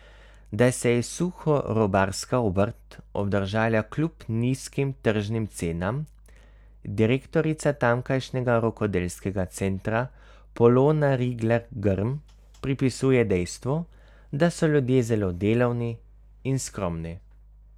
Da se je suhorobarska obrt obdržala kljub nizkim tržnim cenam, direktorica tamkajšnjega rokodelskega centra Polona Rigler Grm pripisuje dejstvu, da so ljudje zelo delavni in skromni.